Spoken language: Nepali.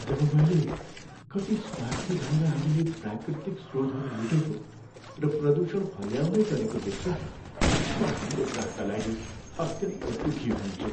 जब मैले कति स्वार्थी भएर हामीले प्राकृतिक स्रोतहरू लुटेको र प्रदूषण फैलाउँदै गरेको देख्छु नि म हाम्रो ग्रहका लागि अत्यन्त दुःखी हुन्छु।